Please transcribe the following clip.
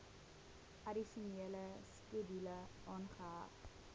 addisionele skedule aangeheg